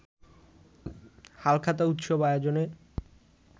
হালখাতা উৎসব আয়োজনে